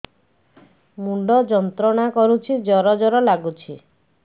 ମୁଣ୍ଡ ଯନ୍ତ୍ରଣା କରୁଛି ଜର ଜର ଲାଗୁଛି